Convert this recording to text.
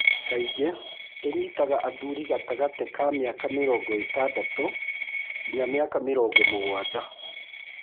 Kaingĩ ĩnyitaga athuri gatagati ka mĩaka mĩrongo ĩtandatũ nginya mĩaka mĩrongo mũgwanja.